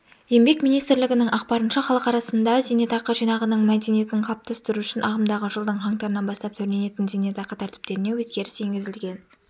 еңбек министрлігінің ақпарынша халық арасында зейнетақы жинағының мәдениетін қалыптастыру үшін ағымдағы жылдың қаңтарынан бастап төленетін зейнетақы тәртіптеріне өзгеріс енгізілген